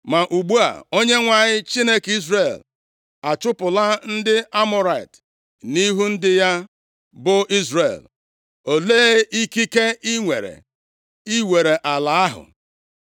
“Ma ugbu a, Onyenwe anyị, Chineke Izrel achụpụla ndị Amọrait nʼihu ndị ya bụ Izrel. Olee ikike i nwere iwere ala ahụ?